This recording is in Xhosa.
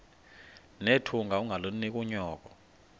nethunga ungalinik unyoko